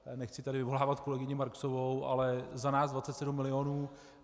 Nechci tady vyvolávat kolegyni Marksovou, ale za nás 27 milionů.